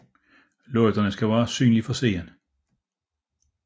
Lygterne skal være synlige fra siden